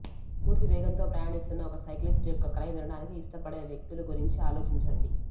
పూర్తి వేగంతో ప్రయాణిస్తున్న ఒక సైక్లిస్ట్ యొక్క క్రై వినడానికి ఇష్టపడే వ్యక్తుల గురించి ఆలోచించండి